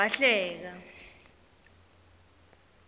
wahleka